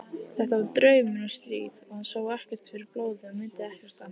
Þetta var draumur um stríð og hann sá ekkert fyrir blóði og mundi ekkert annað.